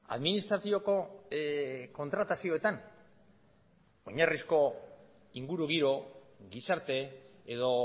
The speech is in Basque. administratiboko kontratazioetan oinarrizko ingurugiro gizarte edo